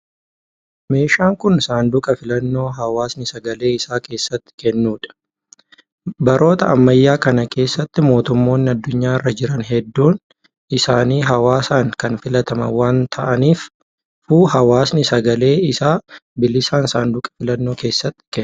Meeshaan kun, saanduqa filannoo hawaasni sagalee isaa keessatti kennuu dha. Baroota ammayyaa kana keessa mootummonni addunyaa irra jiran hedduun isaanii hawaasan kan filataman waan ta'aniifu hawaani sagalee isaa bilisaan saanduqa filannoo keessatti kenna.